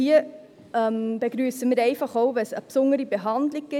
Hier begrüssen wir auch eine besondere Behandlung;